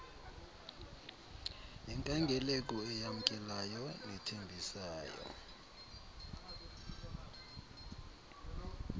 nenkangeleko eyamkelayo nethembisayo